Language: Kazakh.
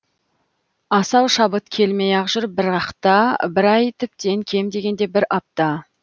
асау шабыт келмей ақ жүр бірақта бір ай тіптен кем дегенде бір апта